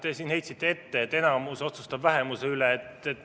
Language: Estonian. Te heitsite ette, et enamus otsustab vähemuse üle.